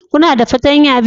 Kuna da fartanya biyu?